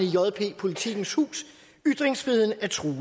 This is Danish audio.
i jppolitikens hus ytringsfriheden er truet